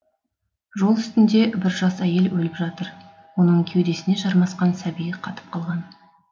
жол үстінде бір жас әйел өліп жатыр оның кеудесіне жармасқан сәби қатып қалған